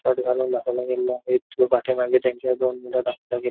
Shirt घालून दाखवला गेलेला एक पाठीमागे त्यांच्या दोन मुलं दाखवले गेलं.